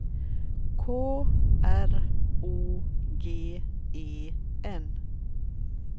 K R O G E N